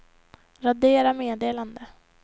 radera meddelande